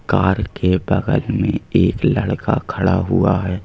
Car के बगल में एक लड़का खड़ा हुआ है।